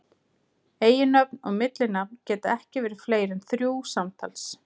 Eiginnöfn og millinafn geta ekki verið fleiri en þrjú samtals.